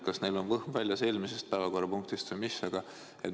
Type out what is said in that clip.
Kas neil on võhm väljas eelmisest päevakorrapunktist või mis?